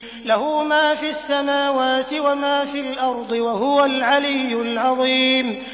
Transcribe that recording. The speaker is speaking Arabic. لَهُ مَا فِي السَّمَاوَاتِ وَمَا فِي الْأَرْضِ ۖ وَهُوَ الْعَلِيُّ الْعَظِيمُ